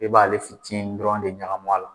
I b'ale fitiini dɔrɔn de ɲagami a la.